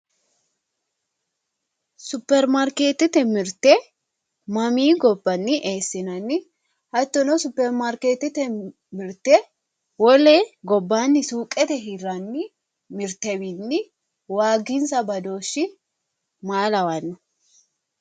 superimaarkeetete mirte mamii gobbanni eessinanni hattono superimaarkeetete mirte wole gobbaanni suuqete hirranni mirtewiinni waaginsa badooshshi maa lawanno.